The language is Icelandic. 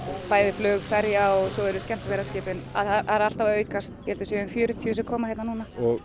bæði flug ferja og svo eru skemmtiferðaskipin það er alltaf að aukast ég held að það séu fjörutíu sem koma hingað núna